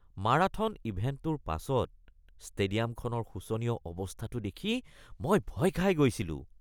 marathon ইভেণ্টটোৰ পাছত ষ্টেডিয়ামখনৰ শোচনীয় অৱস্থাটো দেখি মই ভয় খাই গৈছিলোঁ